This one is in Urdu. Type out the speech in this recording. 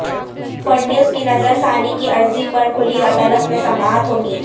فڑنویس کی نظر ثانی کی عرضی پر کھلی عدالت میں سماعت ہوگی